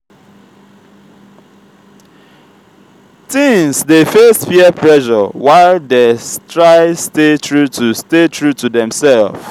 teens dey face peer pressure while dey try stay true to stay true to demself.